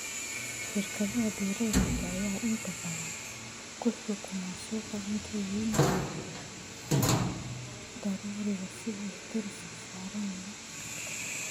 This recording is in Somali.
Shirkadaha beeralayda ayaa inta badan ku xukuma suuqa cuntooyinka daruuriga ah sida bariiska, sarreenka iyo galleyda.